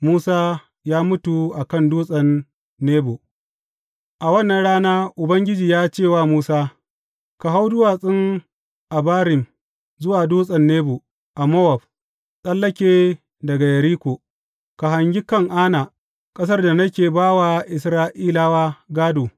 Musa ya mutu a kan Dutsen Nebo A wannan rana Ubangiji ya ce wa Musa, Ka hau Duwatsun Abarim zuwa Dutsen Nebo a Mowab, tsallake daga Yeriko, ka hangi Kan’ana, ƙasar da nake ba wa Isra’ilawa gādo.